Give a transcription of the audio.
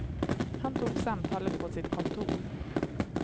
Han tog samtalet på sitt kontor.